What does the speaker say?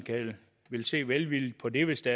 vil se velvilligt på det hvis det